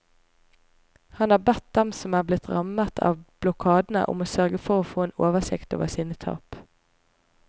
Han har bedt dem som er blitt rammet av blokadene om å sørge for en få en oversikt over sine tap.